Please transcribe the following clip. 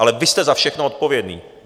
Ale vy jste za všechno odpovědní.